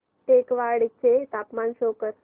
टेकवाडे चे तापमान शो कर